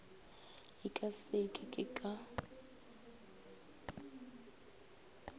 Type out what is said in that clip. e ka se ke ka